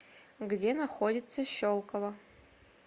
где находится щелково